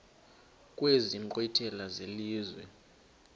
kwezi nkqwithela zelizwe